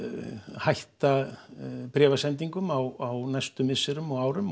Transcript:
hætta bréfasendingum á næstu misserum og árum